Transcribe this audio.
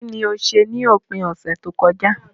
Kíní o se ni òpin ọ̀sẹ̀ tókojá